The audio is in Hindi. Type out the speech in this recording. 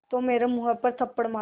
तो मेरे मुँह पर थप्पड़ मारो